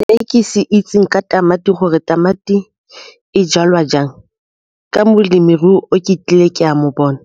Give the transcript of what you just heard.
Se ke se itseng ka tamati gore tamati e jalwa jang ka molemirui o ke tlile ke a mo bona,